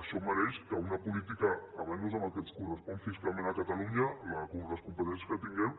això mereix que una política almenys en el que ens correspon fiscalment a catalunya per les competències que tinguem